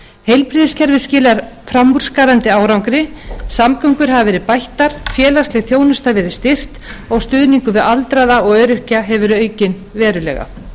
heilbrigðiskerfið skilar framúrskarandi árangri samgöngur hafa verið bættar félagsleg þjónusta verið styrkt og stuðningur við aldraða og öryrkja hefur verið aukinn verulega